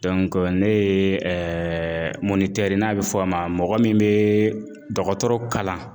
ne ye n'a bɛ fɔ a ma mɔgɔ min bee dɔgɔtɔrɔ kalan